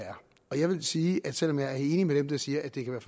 er jeg vil sige at selv om jeg er enig med dem der siger at det kan